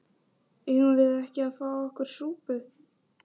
Eigum við ekki að fá okkur súpu?